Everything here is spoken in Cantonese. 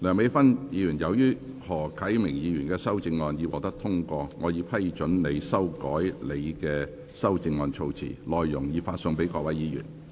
梁美芬議員，由於何啟明議員的修正案獲得通過，我已批准你修改你的修正案措辭，內容已發送各位議員。